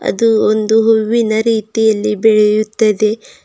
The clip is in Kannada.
ಅದು ಒಂದು ಹೂವಿನ ರೀತಿಯಲ್ಲಿ ಬೆಳೆಯುತ್ತದೆ.